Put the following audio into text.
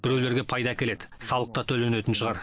біреулерге пайда әкеледі салық та төленетін шығар